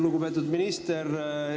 Lugupeetud minister!